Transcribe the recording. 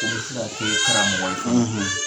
O be se ka kɛ karamɔgɔ ye,